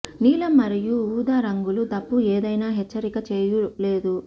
నీలం మరియు ఊదా రంగులు తప్పు ఏదైనా హెచ్చరిక చేయు లేదు